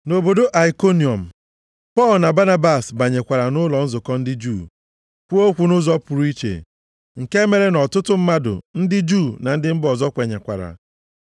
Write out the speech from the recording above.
Nʼobodo Aikoniọm, Pọl na Banabas banyekwara nʼụlọ nzukọ ndị Juu, kwuo okwu nʼụzọ pụrụ iche nke mere nʼọtụtụ mmadụ, ndị Juu na ndị mba ọzọ kwenyekwara.